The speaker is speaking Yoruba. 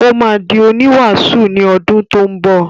Ó máa di oníwàásù ní odún tó ń bọ̀.